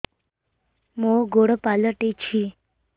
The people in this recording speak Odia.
ମୋର ଗୋଡ଼ ପାଲଟିଛି